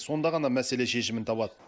сонда ғана мәселе шешімін табады